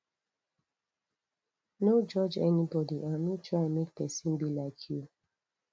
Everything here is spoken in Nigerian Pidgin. no judge anybody and no try make persin be like you